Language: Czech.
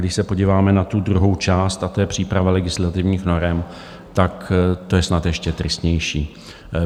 Když se podíváme na tu druhou část, a to je příprava legislativních norem, tak to je snad ještě tristnější.